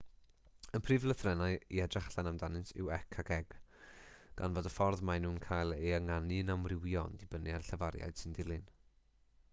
y prif lythrennau i edrych allan amdanynt yw c a g gan fod y ffordd maen nhw'n cael eu hynganu'n amrywio gan ddibynnu ar y llafariad sy'n dilyn